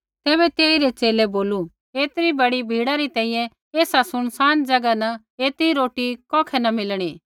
तैबै तेइरै च़ेले बोलू ऐतरी बड़ी भीड़ै री तैंईंयैं एसा सुनसान ज़ैगा न ऐतरी रोटी कौखै न मिलणी